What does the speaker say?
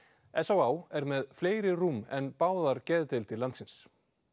s á á er með fleiri rúm en báðar geðdeildir landsins